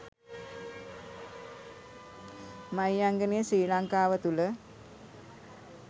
මහියංගනය ශ්‍රී ලංකාව තුල